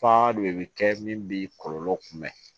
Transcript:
Faa de bɛ kɛ min b'i kɔlɔlɔ kunbɛn